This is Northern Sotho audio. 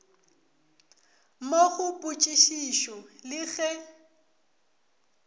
mo go potšišišo le ge